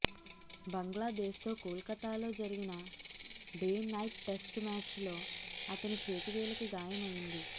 బంగ్లాదేశ్తో కోల్కతాలో జరిగిన day night test మ్యాచ్లో అతని చేతి వేలికి గాయమైంది